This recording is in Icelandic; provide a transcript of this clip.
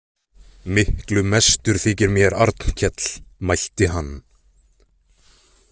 Miklu mestur þykir mér Arnkell, mælti hann.